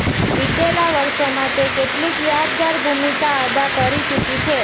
વિતેલા વર્ષોમાં તે કેટલીક યાદગાર ભૂમિકા અદા કરી ચુકી છે